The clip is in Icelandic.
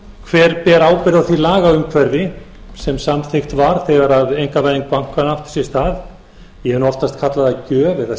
hverjir beri ábyrgð á því lagaumhverfi sem samþykkt var þegar einkavæðing bankanna átti sér stað ég hef nú oftast kallað það gjöf eða